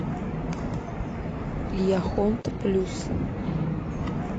яхонт плюс